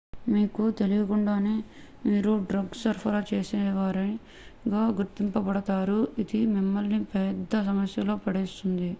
మీకు తెలీకుండానే మీరు డ్రగ్స్ సరఫరా చేసేవారిగా గుర్తింపబడతారు ఇది మిమ్మల్ని పెద్ద సమస్యలలో పడేస్తుంది